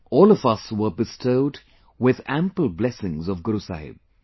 All of us were bestowed with ample blessings of Guru Sahib